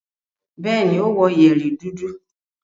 Bẹ́ẹ̀ni, ó wọ yẹ̀rì dúdú.